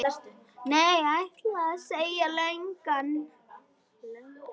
Nei, ætli það, sagði löggan.